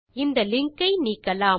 இந்த லிங்க் ஐ நீக்கலாம்